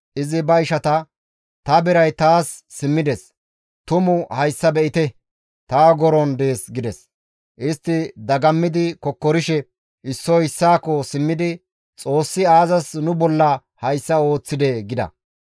Izi ba ishata, «Ta biray taas simmides; tuma hayssa be7ite! Ta ogoron dees» gides. Istti dagammidi kokkorishe issoy issaakko simmidi, «Xoossi aazas nu bolla hayssa ooththidee?» gida.